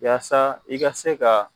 Yasa i ka se ka